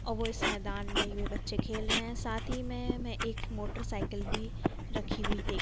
औ वो इस मैदान में इवे बच्चे खेल रहे हैं। साथी ही में मैं एक मोटरसाइकिल बी रखी हुई देख --